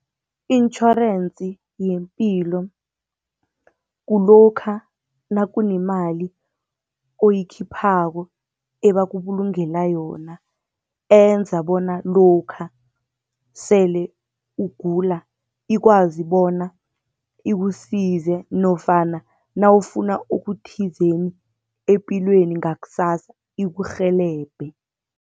I-insurance yepilo kulokha nakunemali oyikhiphako ebakubulungela yona, enza bona lokha sele ugula ikwazi bona ikusize, nofana nawufuna okuthizeni epilweni ngakusasa ikurhelebhe.